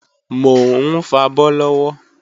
Mò ń fabọ́ lọ́wọ́